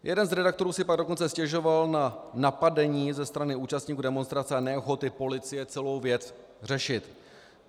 Jeden z redaktorů si pak dokonce stěžoval na napadení ze strany účastníků demonstrace a neochoty policie celou věc řešit.